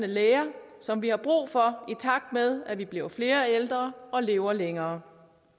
læger som vi har brug for i takt med at vi bliver flere ældre og lever længere